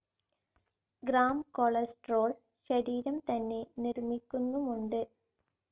Grams cholesterol ശരീരം തന്നെ നിർമ്മിക്കുന്നുമുണ്ട്.